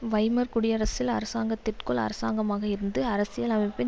Weimar குடியரசில் அரசாங்கத்திற்குள் அரசாங்கமாக இருந்து அரசியல் அமைப்பின்